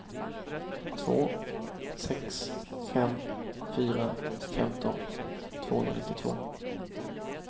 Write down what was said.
två sex fem fyra femton tvåhundranittiotvå